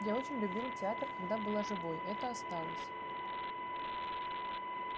я очень любила театр когда была живой это осталось